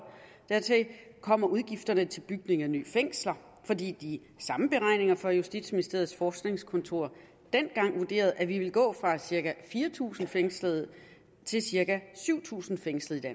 dertil kommer udgifterne til bygning af nye fængsler fordi de samme beregninger fra justitsministeriets forskningskontor dengang vurderede at vi ville gå fra cirka fire tusind fængslede til cirka syv tusind fængslede i